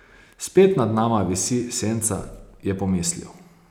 Spet nad nama visi senca, je pomislil.